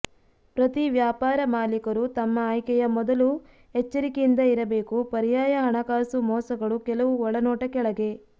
ಪ್ರತಿ ವ್ಯಾಪಾರ ಮಾಲೀಕರು ತಮ್ಮ ಆಯ್ಕೆಯ ಮೊದಲು ಎಚ್ಚರಿಕೆಯಿಂದ ಇರಬೇಕು ಪರ್ಯಾಯ ಹಣಕಾಸು ಮೋಸಗಳು ಕೆಲವು ಒಳನೋಟ ಕೆಳಗೆ